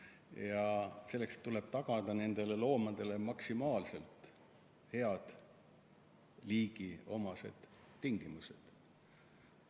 Ja selleks tuleb tagada nendele loomadele maksimaalselt head liigiomased tingimused.